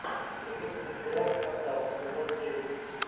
запусти сериал скандал сезон девять